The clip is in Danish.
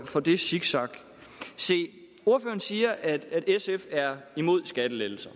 for det zigzag se ordføreren siger at sf er imod skattelettelser